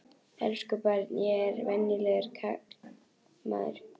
Elsku barn, ég er bara venjulegur karlmaður.